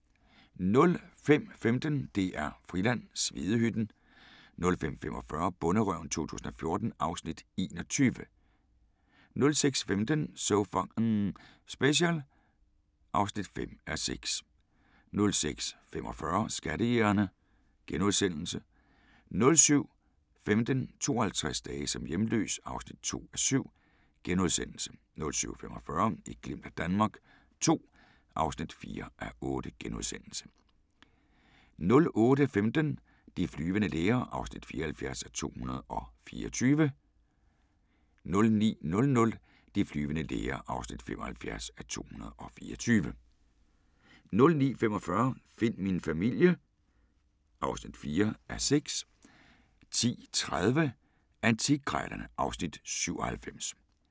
05:15: DR-Friland: Svedehytten 05:45: Bonderøven 2014 (Afs. 21) 06:15: So F***ing Special (5:6) 06:45: Skattejægerne * 07:15: 52 dage som hjemløs (2:7)* 07:45: Et glimt af Danmark II (4:8)* 08:15: De flyvende læger (74:224) 09:00: De flyvende læger (75:224) 09:45: Find min familie (4:6) 10:30: Antikkrejlerne (Afs. 97)